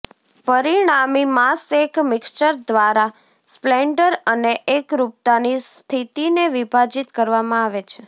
પરિણામી માસ એક મિક્સર દ્વારા સ્પ્લેન્ડર અને એકરૂપતા ની સ્થિતિને વિભાજિત કરવામાં આવે છે